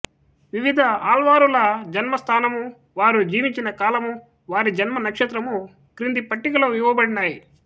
వివిధ ఆళ్వారుల జన్మ స్థానము వారు జీవించిన కాలము వారి జన్మ నక్షత్రము క్రింది పట్టికలో ఇవ్వబడినాయి